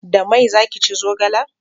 Da mai za ki ci zogalen?